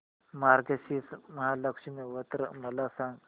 मार्गशीर्ष महालक्ष्मी व्रत मला सांग